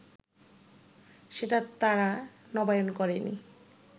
সেটা তারা নবায়ন করেনি